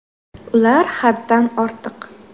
– Ular haddan ortiq.